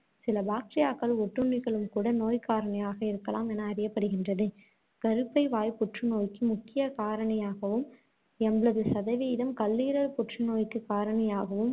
சில bacteria க்கள், ஒட்டுண்ணிக்களும்கூட நோய்க்காரணியாக இருக்கலாம் என அறியப்படுகின்றது. கருப்பை வாய்ப் புற்றுநோய்க்கு முக்கிய காரணியாகவும், எண்பது சதவீதம் கல்லீரல் புற்றுநோய்க்குக் காரணியாகவும்,